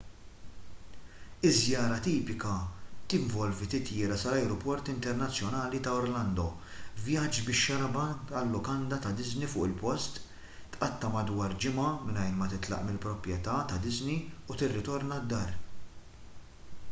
iż-żjara tipika tinvolvi titjira sal-ajruport internazzjonali ta' orlando vjaġġ bix-xarabank għal-lukanda ta' disney fuq il-post tqatta' madwar ġimgħa mingħajr ma titlaq mill-proprjetà ta' disney u tirritorna d-dar